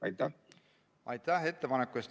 Aitäh ettepaneku eest!